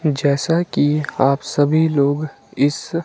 जैसा कि आप सभी लोग इस--